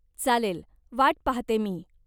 चालेल, वाट पाहते मी.